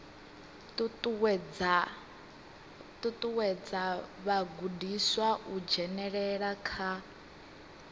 ṱuṱuwedza vhagudiswa u dzhenelela kha